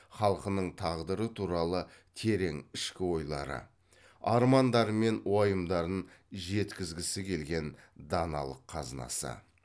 халқының тағдыры туралы терең ішкі ойлары армандары мен уайымдарын жеткізгісі келген даналық қазынасы